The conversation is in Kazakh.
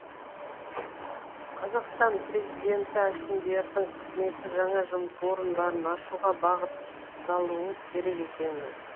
қазақстан президенті әкімдердің қызметі жаңа жұмыс орындарын ашуға бағытталуы керек екенін айтты